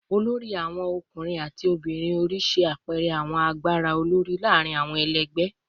olori awon ọkunrin ati ọmọbirin ori ṣe apẹẹrẹ awọn agbara olori laarin awọn ẹlẹgbẹ